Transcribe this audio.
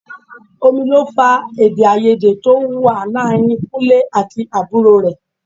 Omi ló fa èdè-áiyedé tó wà láàárín Kúnlẹ́ àti àbúrò rẹ̀.